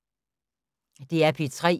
DR P3